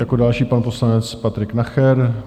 Jako další pan poslanec Patrik Nacher.